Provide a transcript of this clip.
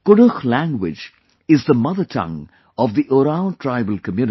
Kudukh language is the mother tongue of the Oraon tribal community